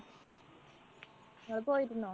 ങ്ങള് പോയിരുന്നോ?